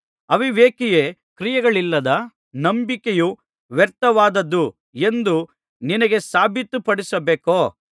ಅವಿವೇಕಿಯೇ ಕ್ರಿಯೆಗಳಿಲ್ಲದ ನಂಬಿಕೆಯು ವ್ಯರ್ಥವಾದದ್ದು ಎಂದು ನಿನಗೆ ಸಾಬಿತುಪಡಿಸಬೇಕೋ